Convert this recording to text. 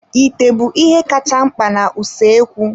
Ite bụ ihe kacha mkpa na usoekwu.